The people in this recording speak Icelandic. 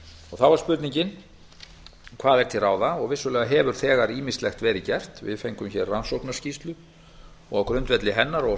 þá er spurningin hvað er til ráða og vissulega hefur þegar ýmislegt verið gert við fengum hér rannsóknarskýrslu og á grundvelli hennar og